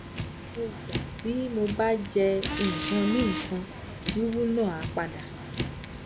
gbogbo igba ti mo ba je ikanikan wiwu na a pada